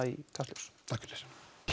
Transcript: í Kastljós takk fyrir